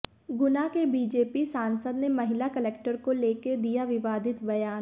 गुना के बीजेपी सांसद ने महिला कलेक्टर को लेकर दिया विवादित बयान